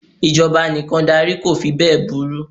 Ìjọba anìkàndarí ko fí bẹ́è burú.